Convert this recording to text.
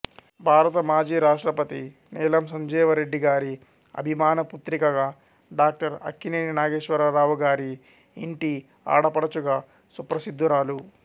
భారత మాజీ రాష్ట్రపతి నీలం సంజీవరెడ్డి గారి అభిమాన పుత్రికగా డాక్టర్ అక్కినేని నాగేశ్వరరావు గారి ఇంటి ఆడపడుచుగా సుప్రసిద్దురాలు